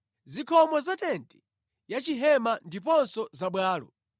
zikhomo za tenti ya chihema ndiponso za bwalo, ndi zingwe zake;